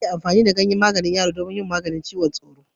Ana yin amfani da ganyen bishiyar dogon yaro wajen yin magani cizon tsoro